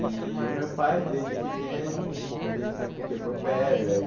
E o meu pai, desde pequeno, ele sempre quebrou pedra e.